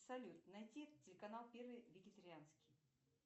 салют найти телеканал первый вегетарианский